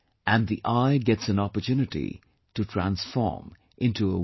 And the 'I' gets an opportunity to transform into a 'We'